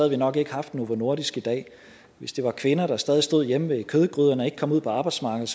vi nok ikke haft novo nordisk i dag hvis det var kvinder der stadig stod hjemme ved kødgryderne og ikke kom ud på arbejdsmarkedet